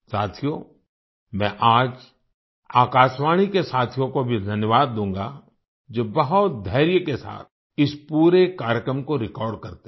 साथियो मैं आज आकाशवाणी के साथियों को भी धन्यवाद दूंगा जो बहुत धैर्य के साथ इस पूरे कार्यक्रम को रिकॉर्ड करते हैं